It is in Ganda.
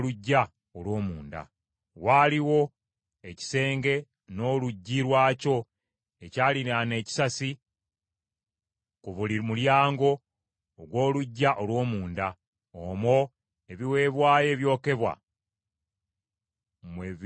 Waaliwo ekisenge n’oluggi lwakyo ekyaliraana ekisasi ku buli mulyango ogw’oluggya olw’omunda. Omwo ebiweebwayo ebyokebwa mwe byayozebwanga.